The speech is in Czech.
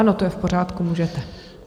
Ano, to je v pořádku, můžete.